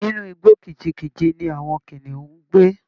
Inú igbó kìjikìji ni àwọn kìnìún ń gbé